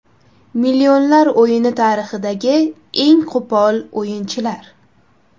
Millionlar o‘yini tarixidagi eng qo‘pol o‘yinchilar.